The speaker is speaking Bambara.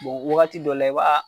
Bɔn wagati dɔw la i b'a